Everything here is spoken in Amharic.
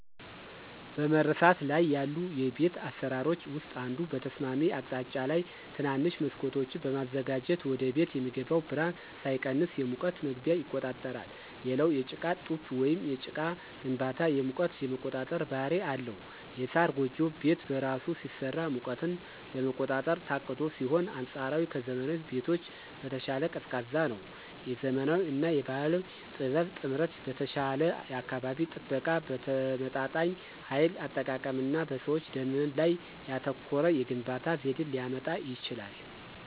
በመረሳት ላይ ያሉ የቤት አሰራሮች ውስጥ አንዱ በተስማሚ አቅጣጫ ላይ ትናንሽ መስኮቶችን በማዘጋጀት ወደቤት የሚገባው ብርሃን ሳይቀንስ የሙቀት መግቢያ ይቆጣጠራል። ሌላው የጭቃ ጡብ ወይም ጭቃ ግንባታ የሙቀት የመቆጣጠር ባህሪ አለው። የሳር ጎጆ ቤት በራሱ ሲሰራ ሙቀትን ለመቆጣጠር ታቅዶ ሲሆን አንፃራዊ ከዘመናዊ ቤቶች በተሻለ ቀዝቃዛ ነው። የዘመናዊ እና የባህል ጥበብ ጥምረት በተሻለ የአካባቢ ጥበቃ፣ በተመጣጣኝ ኃይል አጠቃቀም እና በሰዎች ደህንነት ላይ ያተኮረ የግንባታ ዘዴን ሊያመጣ ይችላል።